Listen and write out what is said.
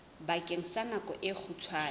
bakeng sa nako e kgutshwane